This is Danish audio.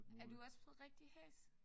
Er du også blevet rigtig hæs?